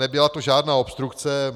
Nebyla to žádná obstrukce.